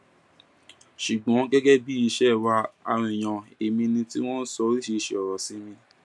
ṣùgbọn gẹgẹ bí ìṣe wa àwọn èèyàn he mí ni tí wọn ń sọ oríṣiríṣiì ọrọ sí mi